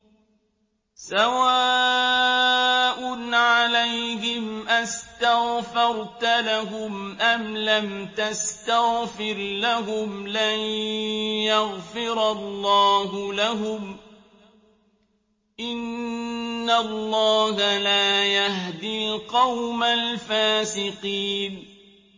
سَوَاءٌ عَلَيْهِمْ أَسْتَغْفَرْتَ لَهُمْ أَمْ لَمْ تَسْتَغْفِرْ لَهُمْ لَن يَغْفِرَ اللَّهُ لَهُمْ ۚ إِنَّ اللَّهَ لَا يَهْدِي الْقَوْمَ الْفَاسِقِينَ